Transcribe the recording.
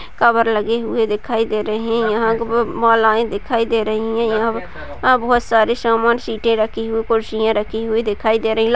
cover लगे हुए दिखाई दे रहे हैं यहाँ पे महिलाएं दिखाई दे रही हैं यहां यहाँ बहुत सारे सामान सीटें रखी हुई कुर्सियां रखी हुई दिखाई दे रही हैं |